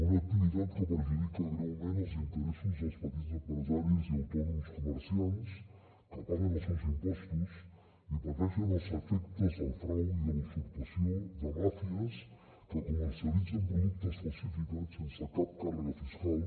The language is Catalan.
una activitat que perjudica greument els interessos dels petits empresaris i autònoms comerciants que paguen els seus impostos i pateixen els efectes del frau i de la usurpació de màfies que comercialitzen productes falsificats sense cap càrrega fiscal